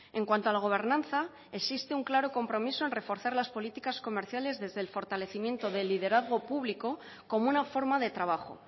en cuanto a la gobernanza existe un claro compromiso en reforzar las políticas comerciales desde el fortalecimiento del liderazgo público como una forma de trabajo